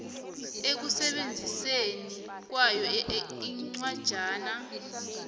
ekusebenziseni kwayo incwajana